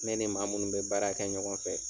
Ne ni maa munnu bɛ baara kɛ ɲɔgɔn fɛ